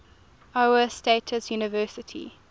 iowa state university